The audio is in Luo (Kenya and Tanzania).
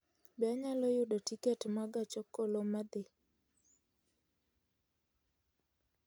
Be anyalo yudo tiket ma gach okoloma dhi